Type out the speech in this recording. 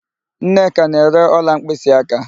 Nneka na-ere ọla mkpịsịaka.